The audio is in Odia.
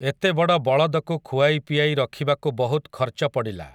ଏତେବଡ଼ ବଳଦକୁ ଖୁଆଇପିଆଇ ରଖିବାକୁ ବହୁତ୍ ଖର୍ଚ୍ଚ ପଡ଼ିଲା ।